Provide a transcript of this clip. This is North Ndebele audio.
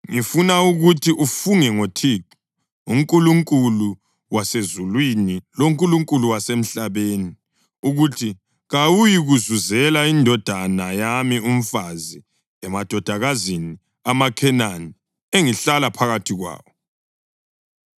Ngifuna ukuthi ufunge ngoThixo, uNkulunkulu wasezulwini loNkulunkulu wasemhlabeni, ukuthi kawuyikuzuzela indodana yami umfazi emadodakazini amaKhenani engihlala phakathi kwawo,